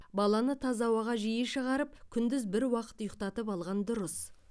баланы таза ауаға жиі шығарып күндіз бір уақыт ұйықтатып алған дұрыс